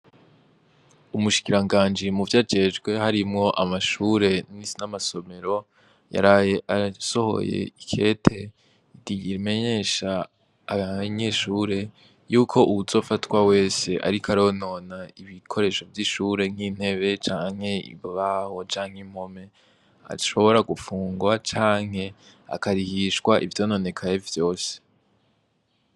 Umushikiranganji muvyajejwe harimwo amashure n'amasomero, yaraye asohoye ikete rimenyesha abanyeshure yuko uwuzofatwa wese ariko aronona ibikoresho vy'ishure nk'intebe, canke ibibaho, canke impome, ashobora gufungwa canke akarihishwa ivyononekaye vyose.